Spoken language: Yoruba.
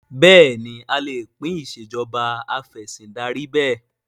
Bẹ́ẹ̀ni a lè pín Ìṣèjọba Af'ẹ̀sìndarí bẹ́ẹ̀